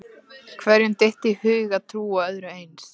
Hverjum dytti í hug að trúa öðru eins?